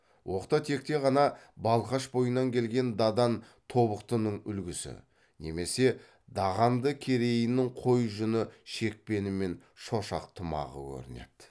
оқта текте ғана балқаш бойынан келген дадан тобықтының үлгісі немесе дағанды керейінің қой жүні шекпені мен шошақ тымағы көрінеді